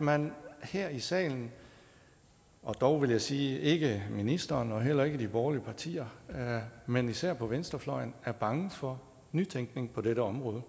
man her i salen og dog vil jeg sige ikke ministeren og heller ikke de borgerlige partier men især på venstrefløjen er bange for nytænkning på dette område